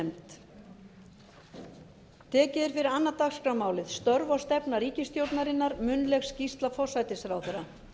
tekið er fyrir annað dagskrármálið störf og stefna ríkisstjórnarinnar munnleg skýrsla forsætisráðherra